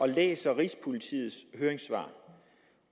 jeg læser rigspolitiets høringssvar